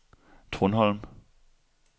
Trundholm